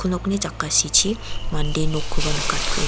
nokni jakasichi mande nokkoba nikatkueng--